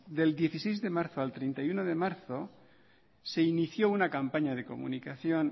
del dieciséis de marzo al treinta y uno de marzo se inició una campaña de comunicación